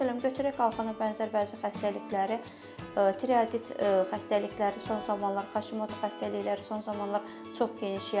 Məsələn, götürək qalxana bənzər vəzi xəstəlikləri tiroidit xəstəlikləri son zamanlar, haşimoto xəstəlikləri son zamanlar çox geniş yayılmışdır.